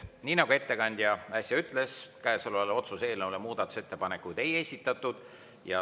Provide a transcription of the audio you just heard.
Nii nagu ettekandja äsja ütles, otsuse eelnõu kohta muudatusettepanekuid ei esitatud.